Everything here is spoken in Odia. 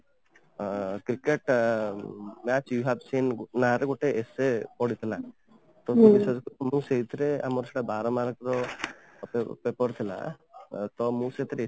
ଅଂ cricket match you have seen ନା ରେ ଗୋଟେ essay ପଡିଥିଲା ତ ମୁଁ ସେଇଥିରେ ଆମର ସେଇଟା ବାର mark ର paper ଥିଲା ତ ମୁଁ ସେଇଥିରେ